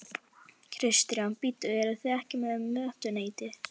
Kristján: Bíddu, eruð þið ekki með mötuneyti?